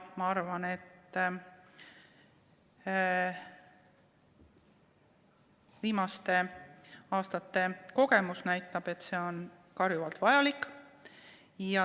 Ma arvan, et viimaste aastate kogemus näitab, et see on karjuvalt vajalik.